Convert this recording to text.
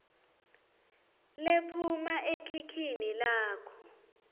lephuma ekhikhini lakho